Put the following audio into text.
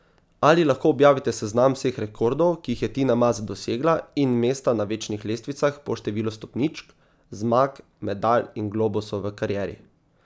Ali lahko objavite seznam vseh rekordov, ki jih je Tina Maze dosegla in mesta na večnih lestvicah po številu stopničk, zmag, medalj in globusov v karieri?